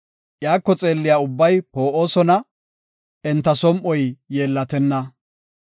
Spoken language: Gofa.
Iyako xeelliya ubbay poo7osona; enta som7oy yeellatenna.